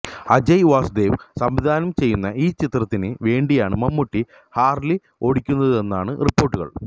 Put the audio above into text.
അജയ് വാസുദേവ് സംവിധാനം ചെയ്യുന്ന ഈ ചിത്രത്തിന് വേണ്ടിയാണ് മമ്മൂട്ടി ഹാർലി ഓടിക്കുന്നതെന്നാണ് റിപ്പോര്ട്ടുകള്